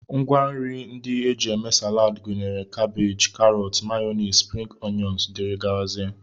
Ngwanri ndị e ji eme Salad gụnyere kabej, karọt, mayọnis, spring oyọn, dg